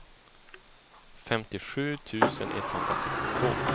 femtiosju tusen etthundrasextiotvå